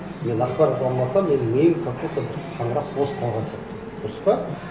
мен ақпарат алмасам менің миым как будто бір қаңырап бос қалған сияқты дұрыс па